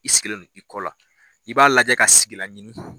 I sigilen no i kɔ la i b'a lajɛ ka sigilan ɲini.